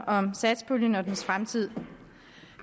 om satspuljen og dens fremtid